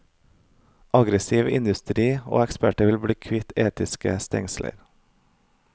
Aggressiv industri og eksperter vil bli kvitt etiske stengsler.